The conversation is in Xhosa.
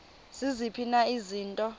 ziziphi na izinto